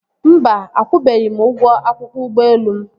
Mba, akwụbeghị m ụgwọ akwụkwọ ụgbọelu m